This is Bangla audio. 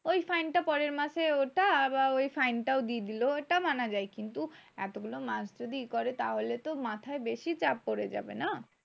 ওই fine টা পরের মাসে ওটা আবার ওই fine টাও দিয়ে দিলো। ওটা মানা যায় কিন্তু এতগুলো মাস যদি ইয়ে করে তাহলে তো মাথায় তো বেশি চাপ পরে যাবে না!